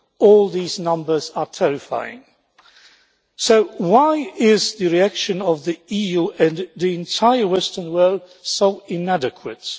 All these numbers are terrifying. So why is the reaction of the EU and the entire Western world so inadequate?